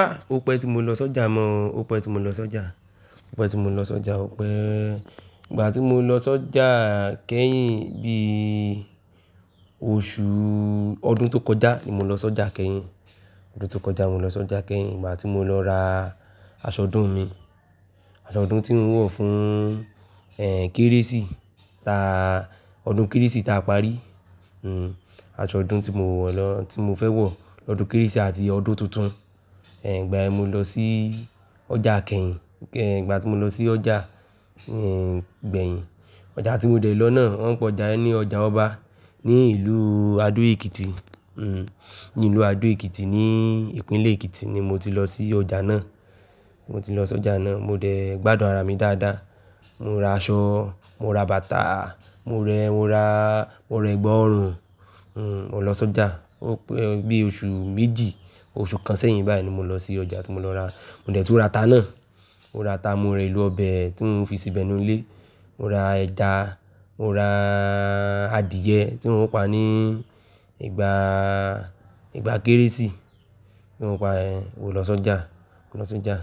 Á, òpè tí mo lọ sọ́jà mọ̀, òpè tí mo lọ sọ́jà, òpè tí mo lọ sọ́jà, òpè ìgbà tí mo lọ sọ́jà kẹ́yìn bí i oṣù, ọdún tó kọjá ni mo lọ sọ́jà kẹ́yìn. Ọdún tó kọjá mo lọ sọ́jà kẹ́yìn ìgbà tí mo lọ ra aṣọ ọdún mi. Aṣọ ọdún tí n wọ̀ fún, ẹ, Kérésì ta ọdún Kérésì ta parí. Hmm, aṣọ ọdún tí mo wọ̀ lọ, tí mo fẹ́ wọ̀ lọ́dún Kérésì àti ọdún tuntun. Ẹ, ìgbàyen mo lọ sí ọjà kẹ́yìn, ẹ, ìgbà tí mo lọ sí ọjà, ẹ, gbẹ̀yìn. Ọjà tí mo dẹ̀ lọ náà wọn ń pe ọjà yẹn ní ọjà ọba ní ìlú Adó-Ekiti. Hmm, ní ìlú Adó-Ekiti ní ìpínlẹ̀ Ekiti ni mo ti lọ sí ọjà náà. Mo ti lọ sọ́jà náà, mo dẹ̀ gbádùn ara mi dáadáa. Mo ra aṣọ, mo ra bàtà, mo rẹ, mo ra, mo rẹ gbọọrùn, hmm, mo lọ sọ́jà. Ó pẹ́ o bí i oṣù méjì, oṣù kan sẹ́yìn báyìí ni mo lọ sí ọjà tí mo lọ ra. Mo dẹ̀ tún ra ata náà. Mo ra ata, mo ra èlò ọbẹ̀ tí mo fi síbẹ̀ nínú ilé. Mo ra ẹja, mo ra adìẹ tí wọ́n ń pa ní ìgbà, ìgbà Kérésì tí wọ́n ń pa ehn mò lọ sọ́jà, mò lọ sọ́jà.